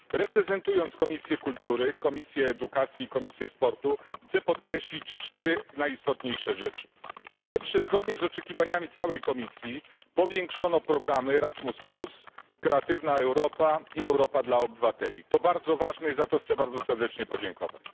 Reprezentując Komisję Kultury, Edukacji i Sportu chciałbym podkreślić cztery najistotniejsze rzeczy po pierwsze, zgodnie z oczekiwaniami całej Komisji, powiększono programy Erasmus plus, Kreatywna Europa i Europa dla obywateli. To bardzo ważne i za to chcę bardzo serdecznie podziękować.